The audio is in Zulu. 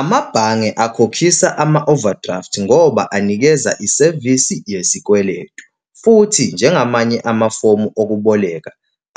Amabhange akhokhisa ama-overdraft ngoba anikeza isevisi yesikweletu, futhi njengamanye amafomu okuboleka,